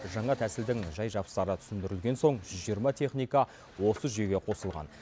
жаңа тәсілдің жай жапсары түсіндірілген соң жүз жиырма техника осы жүйеге қосылған